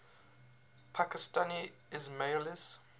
pakistani ismailis